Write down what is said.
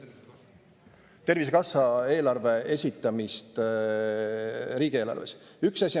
Tervisekassa eelarve esitamine riigieelarves.